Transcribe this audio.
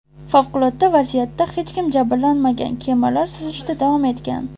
Favqulodda vaziyatda hech kim jabrlanmagan, kemalar suzishda davom etgan.